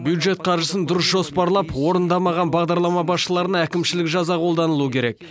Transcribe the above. бюджет қаржысын дұрыс жоспарлап орындамаған бағдарлама басшыларына әкімшілік жаза қолданылуы керек